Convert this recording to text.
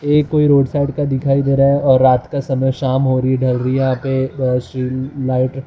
ये कोई road side का दिखाई दे रहा है और रात का समय शाम हो रही है ढल रही यहां पे और श्री लाइट --